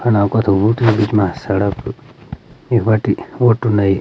फणा कथू उठी बीच मा सड़क इख बटी ऑटू नयी।